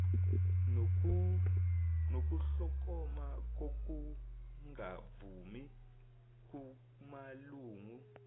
nokuhlokoma kokungavumi kumalungu